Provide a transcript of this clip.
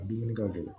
A dumuni ka gɛlɛn